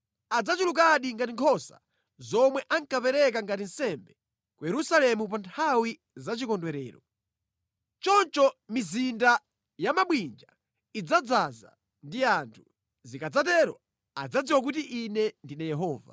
Adzachulukadi ngati nkhosa zomwe ankapereka ngati nsembe ku Yerusalemu pa nthawi za chikondwerero. Choncho mizinda ya mabwinja idzadzaza ndi anthu. Zikadzatero adzadziwa kuti Ine ndine Yehova.”